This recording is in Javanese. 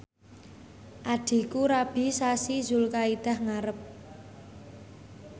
adhiku rabi sasi Zulkaidah ngarep